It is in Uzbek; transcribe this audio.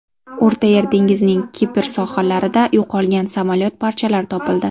O‘rta Yer dengizining Kipr sohillarida yo‘qolgan samolyot parchalari topildi.